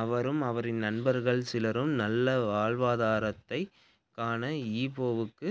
அவரும் அவரின் நண்பர்கள் சிலரும் நல்ல வாழ்வாதாரத்தைக் காண ஈப்போவுக்கு